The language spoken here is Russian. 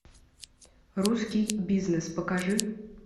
русский бизнес покажи